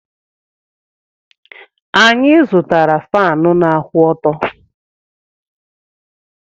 Anyị zụtara Faanụ na-akwụ ọtọ́.